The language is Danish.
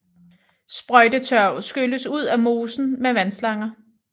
Sprøjtetørv skylles ud af mosen med vandslanger